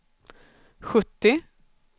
sjuttio